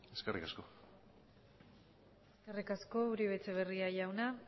eskerrik asko eskerrik asko uribe etxeberria jauna